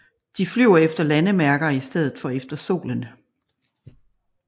De flyver efter landemærker i stedet for efter solen